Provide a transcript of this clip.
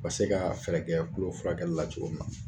U ka se ka fɛɛrɛ kɛ tulo furakɛli la cogo min na.